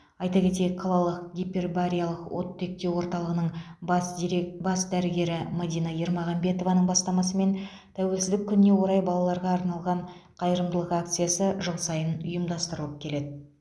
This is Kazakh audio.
айта кетейік қалалық гипербариялық оттектеу орталығының бас дирек бас дәрігері мадина ермағанбетованың бастасымен тәуелсіздік күніне орай балаларға арналған қайырымдылық акциясы жыл сайын ұйымдастыралып келеді